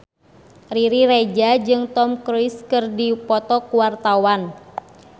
Riri Reza jeung Tom Cruise keur dipoto ku wartawan